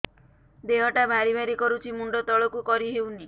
ଦେହଟା ଭାରି ଭାରି କରୁଛି ମୁଣ୍ଡ ତଳକୁ କରି ହେଉନି